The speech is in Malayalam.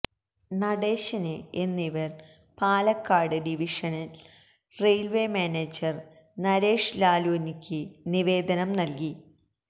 നടേശന് എന്നിവര് Palakkad divisional railway manager Naresh ലാല്വാനിക്ക് നിവേദനം നല്കി